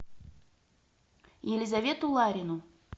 елизавету ларину